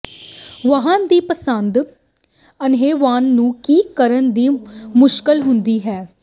ਵਾਹਨ ਦੀ ਪਸੰਦ ਅੰਨ੍ਹੇਵਾਹ ਨੂੰ ਕੀ ਕਰਨ ਦੀ ਮੁਸ਼ਕਲ ਹੁੰਦਾ ਹੈ